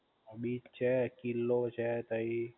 beach છે, કિલ્લો છે તઈ